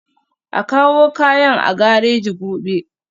A kawo kayan a gareji gobe